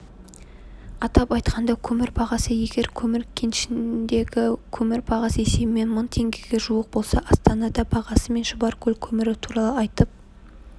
атап айтқанда көмір бағасы егер көмір кенішіндегі көмір бағасы есебімен мың теңгеге жуық болса астанада бағасы мен шұбаркөл көмірі туралы айтып